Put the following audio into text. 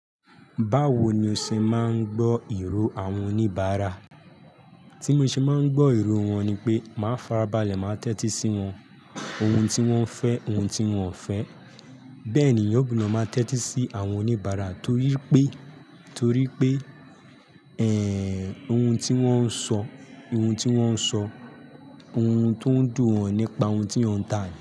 Báwo ni o ṣe máa ń gbọ́ ìró àwọn oníbàárà? Tí mo ṣe máa ń gbọ́ ìró wọn ni pé máa farabalẹ̀ máa tẹ́tí sí wọn. Ohun tí wọ́n fẹ́, ohun tí wọ́n ò fẹ́. Bẹ́ẹ̀ ni ẹ̀yàn gbọ́dọ̀ máa tẹ́tí sí àwọn oníbàárà torí pé, torí pé, ẹ́, ohun tí wọ́n ń sọ, ohun tí wọ́n ń sọ, ohun tó ń dùn wọ́n nípa ohun tí ẹ̀yàn ń tà ní.